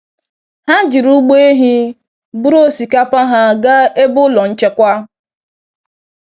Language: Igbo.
Ha jiri ụgbọ ehi buru osikapa ha gaa ebe ụlọ nchekwa.